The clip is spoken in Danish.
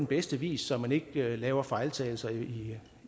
bedste vis så man ikke laver fejltagelser i